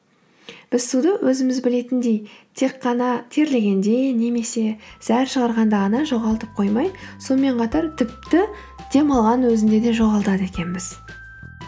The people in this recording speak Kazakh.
біз суды өзіміз білетіндей тек қана терлегенде немесе зәр шығарғанда ғана жоғалтып қоймай сонымен қатар тіпті дем алғанның өзінде де жоғалтады екенбіз